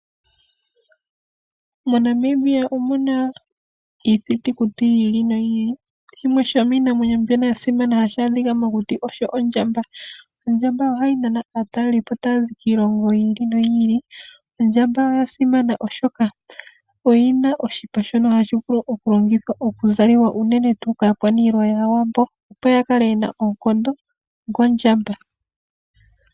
MoNamibia omuna iithitukuti yiili noyiili. Shimwe shomiinamwenyo mbyono yasimana hayi adhika mokuti osho ondjamba. Ondjamba ohayi nana aatalelipo taya zi kiilongo yiili noyiili. Ondjamba oya simana, oshoka oyina oshipa shono hashi vulu okulongithwa okuzaliwa unene tuu kaakwaniilwa yAawambo opo ya kale yena oonkondo dhondjamba.